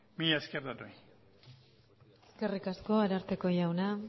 mila esker denoi eskerrik asko ararteko jauna